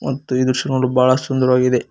ಮತ್ತು ಈ ದೃಶ್ಯ ನೋಡಲು ಬಹಳ ಸುಂದರವಾಗಿದೆ.